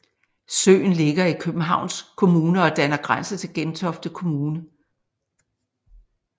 Søen ligger i Københavns Kommune og danner grænse til Gentofte Kommune